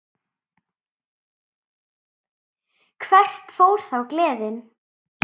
Hvert fór þá gleðin?